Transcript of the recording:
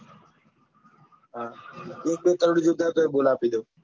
એક બે કરોડ જોઈતા હોય તો બોલ આપી દઉં.